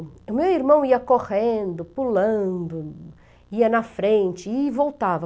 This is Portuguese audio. O meu irmão ia correndo, pulando, ia na frente e voltava.